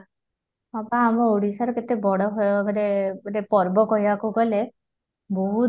ହଁ ବା ଆମ ଓଡିଶାର କେତେ ବଡ଼ ଭୟ ମାନେ ପର୍ବ କହିବାକୁ ଗଲେ ବହୁତ